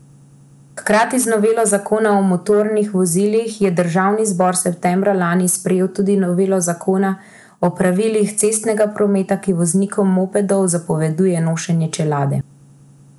Hkrati z novelo zakona o motornih vozilih je državni zbor septembra lani sprejel tudi novelo zakona o pravilih cestnega prometa, ki voznikom mopedov zapoveduje nošenje čelade.